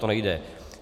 To nejde.